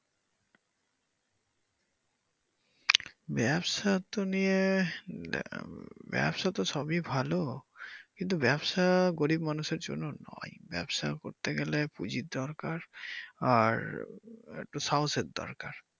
ব্যবসা তো নিয়ে ব্যবসা তো সবই ভালো কিন্তু ব্যবসা গরিব মানুষের জন্য নয় ব্যবসা করতে গেলে পুজির দরকার আর একটু সাহসের দরকার।